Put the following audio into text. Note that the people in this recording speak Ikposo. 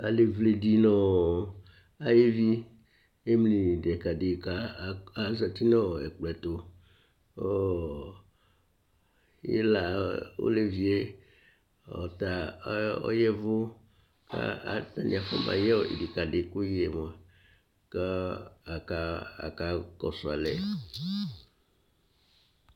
Alevle di nʋ ayevi emli nʋ idikadi kʋ azɛti nʋ ɛkplɔ tu kʋ ila ɔlevi ye ɔta ɔyavʋ afɔba yɛ idikadi kʋyɛ mʋa kʋ akakɔsu alɛ